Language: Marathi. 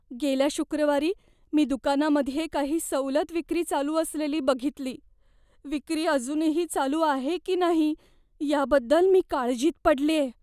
गेल्या शुक्रवारी मी दुकानामध्ये काही सवलत विक्री चालू असलेली बघितली. विक्री अजूनही चालू आहे की नाही याबद्दल मी काळजीत पडलेय.